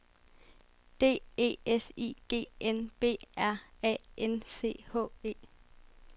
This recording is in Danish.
D E S I G N B R A N C H E